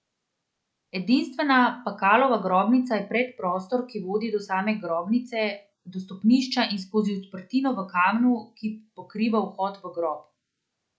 Edinstvena Pakalova grobnica je predprostor, ki vodi do same grobnice, do stopnišča in skozi odprtino v kamnu, ki pokriva vhod v grob.